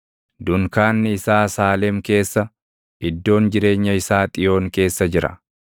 Dunkaanni isaa Saalem keessa, iddoon jireenya isaa Xiyoon keessa jira.